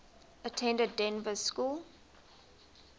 attended dynevor school